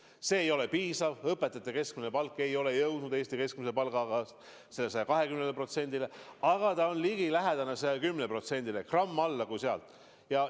See kasv ei ole olnud piisav, õpetajate keskmine palk ei ole jõudnud tasemele 120% Eesti keskmisest palgast, aga ta on ligilähedane tasemega 110% keskmisest palgast, gramm alla selle.